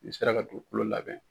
Ni sera ka dugu kulo labɛn.